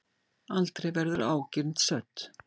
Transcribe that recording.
Aldrei verður ágirnd södd.